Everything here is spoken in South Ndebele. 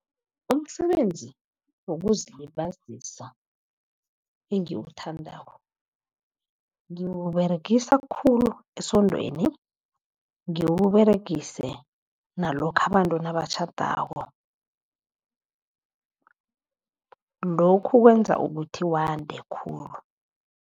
Umsebenzi wokuzilibazisa engiwuthandako ngiwuberegisa khulu esondweni, ngiwuberegise nalokha abantu nabatjhadako. Lokhu kwenza ukuthi wande khulu.